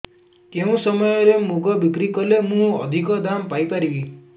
କେଉଁ ସମୟରେ ମୁଗ ବିକ୍ରି କଲେ ମୁଁ ଅଧିକ ଦାମ୍ ପାଇ ପାରିବି